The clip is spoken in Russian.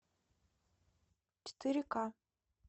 четыре ка